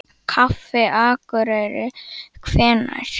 Kaffi Akureyri Hvenær?